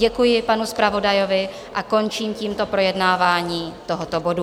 Děkuji panu zpravodajovi a končím tímto projednávání tohoto bodu.